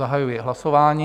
Zahajuji hlasování.